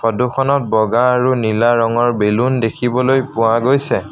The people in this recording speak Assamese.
ফটোখনত বগা আৰু নীলা ৰঙৰ বেলুন দেখিবলৈ পোৱা গৈছে।